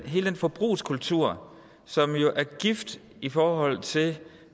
hele den forbrugskultur som jo er gift i forhold til